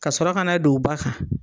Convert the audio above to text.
Ka sɔrɔ ka na don ba kan